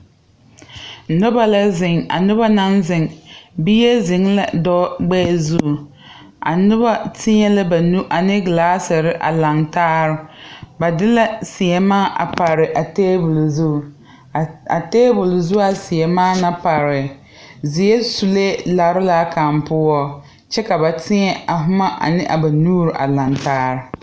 Nobɔ lɛ zeŋ a nobɔ na naŋ zeŋ bie zeŋɛɛ dɔɔ gbɛɛ zu a nobɔ teɛ la ba nu a ne glaaserre a laŋtaare ba de la sèèmaa pare a tabole zu a tabole zu a sèèmaa na pare zeɛre sulee lare laa kaŋ poɔ kyɛ ka ba tēɛ a boma a ne a ba nuure a laŋtaare.